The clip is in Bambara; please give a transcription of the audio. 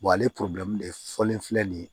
ale de fɔlen filɛ nin ye